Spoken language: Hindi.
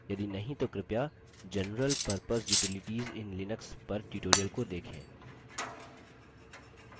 यदि नहीं तो कृपया general purpose utilities in linux पर tutorial को देखें